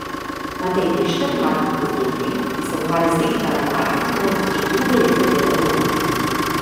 Matej Bešter, mlad podjetnik, ki se ukvarja z digitalnim marketingom, že drugo leto dela od doma.